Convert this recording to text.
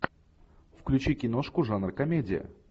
включи киношку жанр комедия